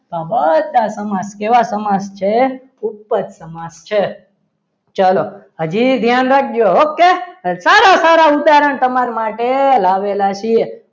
આ બધા સમાજ કેવા સમાજ છે ઉપદ સમાસ છે ચાલો હજી ધ્યાન રાખજો okay સારા સારા ઉદાહરણ તમારા માટે લાવેલા છીએ.